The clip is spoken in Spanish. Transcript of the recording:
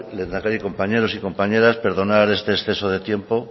lehendakari compañeros y compañeras perdonar este exceso de tiempo